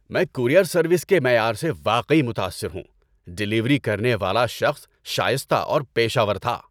میں courier service کے معیار سے واقعی متاثر ہوں۔ ڈیلیوری کرنے والا شخص شائستہ اور پیشہ ور تھا۔